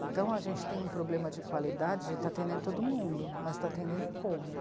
Então a gente tem um problema de qualidade, a gente está atendendo todo mundo, mas está atendendo como?